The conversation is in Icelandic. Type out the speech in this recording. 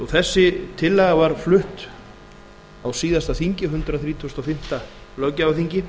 þessi tillaga var flutt á síðasta þingi hundrað þrítugasta og fimmta löggjafarþingi